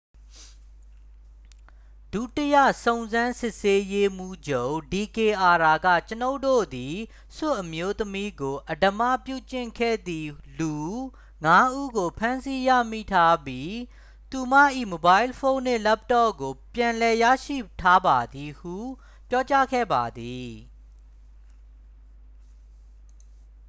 "ဒုတိယ စုံစမ်းစစ်ဆေးရေးမှူးချုပ် ဒီကေအာရ က "ကျွန်ုပ်တို့သည် ဆွစ်အမျိုးသမီးကို အဓမ္မပြုကျင့်ခဲ့သည်လူ ငါး ဦးကို ဖမ်းဆီးရမိထားပြီး သူမ၏မိုဘိုင်းဖုန်းနှင့် လပ်တော့ကို ပြန်လည်ရရှိထားပါသည်" ဟု ပြောကြားခဲ့ပါသည်။